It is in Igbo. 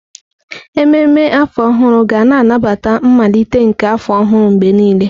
Ememme afọ ọhụrụ ga na-anabata mmalite nke afọ ọhụrụ mgbe niile.